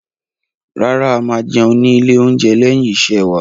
Rárá, a máa jẹun ní ilé-oúnjẹ lẹ́yìn iṣẹ́ wa.